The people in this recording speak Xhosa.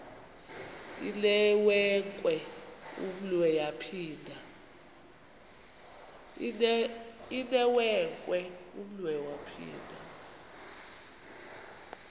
inewenkwe umnwe yaphinda